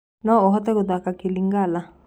No ũhote gũthaka kĩlingala